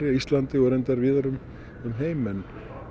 Íslandi og reyndar víðar um um heim en